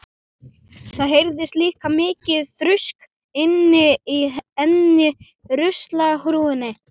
Það heyrðist líka mikið þrusk inni í einni ruslahrúgunni.